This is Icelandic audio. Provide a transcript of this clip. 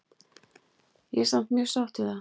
Ég er samt mjög sátt við það.